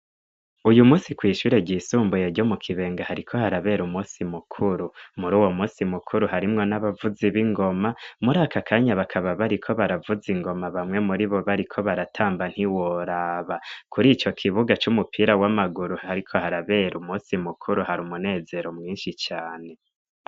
Uyu munsi kw' ishure ryisumbuye ryo mu Kibenga hariko harabera umusi mukuru muri uwo musi mukuru harimwo n'abavuzi b'ingoma muri aka kanya bakaba bariko baravuza ingoma bamwe muri bo bariko baratamba ntiworaba. Kuri ico kibuga c'umupira w'amaguru hariko harabera umusi mukuru, hari umunezero mwinshi cane.